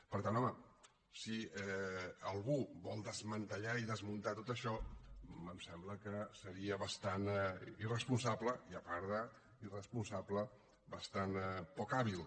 per tant home si algú vol desmantellar i desmuntar tot això em sembla que seria bastant irresponsable i a part d’irresponsable bastant poc hàbil